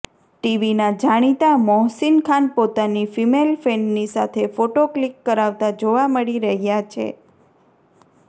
ટીવીના જાણીતા મોહસીન ખાન પોતાની ફિમેલ ફેનની સાથે ફોટો ક્લિક કરાવતા જોવા મળી રહ્યા છે